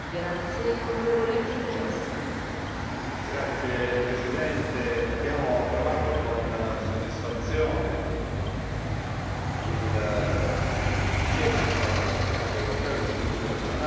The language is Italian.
Signor Presidente, abbiamo approvato con soddisfazione il sul Fondo europeo di sviluppo regionale.